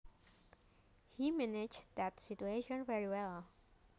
He managed that situation very well